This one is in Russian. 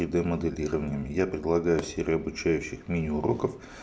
три д моделированием я предлагаю серию обучающих мини уроков